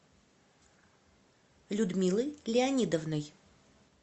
людмилой леонидовной